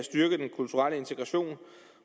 at styrke den kulturelle integration